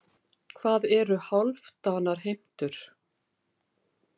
Hvað eru hálfdanarheimtur?